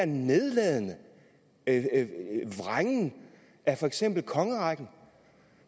nedladende vrængen af for eksempel kongerækken